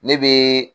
Ne bɛ